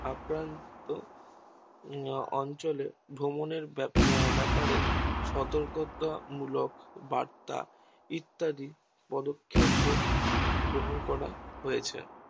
আক্রান্ত অঞ্চলে ভ্রমণ এর ব্যাপারে সতর্কতা মূলক বার্তা ইত্যাদি পদক্ষেপ গ্রহণ করা হয়েছে